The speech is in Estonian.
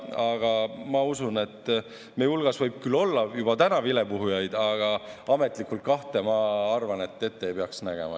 Aga ma usun, et meie hulgas võib küll olla juba täna vilepuhujaid, aga ametlikult kahte, ma arvan, ette ei peaks nägema.